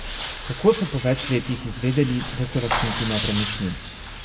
Kako so po več letih izvedeli, da so lastniki nepremičnin?